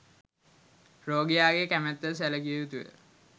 රෝගියාගේ කැමැත්ත ද සැලකිය යුතුය